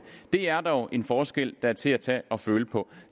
er dog en forskel der er til at tage og føle på